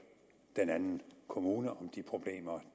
den anden kommune om de problemer